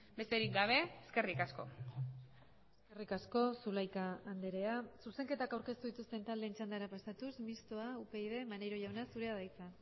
besterik gabe eskerrik asko eskerrik asko zulaika andrea zuzenketak aurkeztu dituzten taldeen txandara pasatuz mistoa upyd maneiro jauna zurea da hitza